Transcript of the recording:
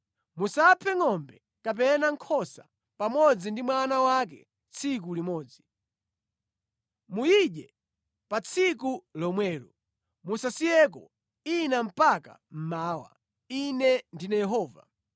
Musaphe ngʼombe kapena nkhosa pamodzi ndi mwana wake tsiku limodzi. Muyidye pa tsiku lomwelo; musasiyeko ina mpaka mmawa. Ine ndine Yehova.